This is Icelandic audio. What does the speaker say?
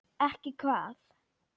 Ekki hvað?